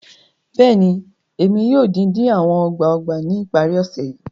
Bẹẹni, Emi yoo din-din awọn ọgbà-ọgbà ni ipari-ọsẹ yii